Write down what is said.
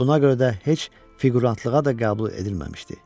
Buna görə də heç fiqurantlığa da qəbul edilməmişdi.